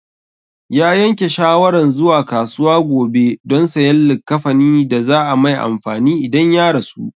Ya yanke shawaran zuwa kasuwa gobe don sayan likkafanin da za a mai amfani idan ya rasu